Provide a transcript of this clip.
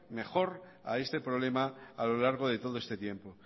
mejor a este problema a lo largo de todo este tiempo